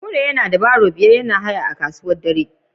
Kure yana da wheelbarrow biyar yana haya a kasuwa dare